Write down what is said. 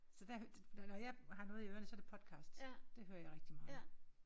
Så der når jeg har noget i ørerne så er det podcast. Det hører jeg rigtig meget